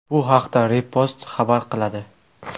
Bu haqda Repost xabar qiladi .